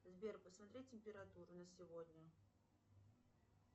сбер посмотри температуру на сегодня